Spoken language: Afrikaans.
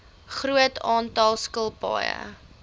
groot aantal skilpaaie